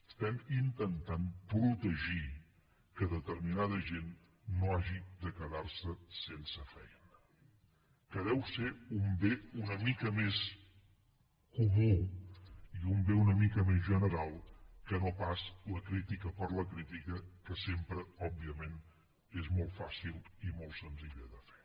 estem intentant protegir que determinada gent no hagi de quedar se sense feina que deu ser un bé una mica més comú i un bé una mica més general que no pas la crítica per la crítica que sempre òbviament és molt fàcil i molt senzilla de fer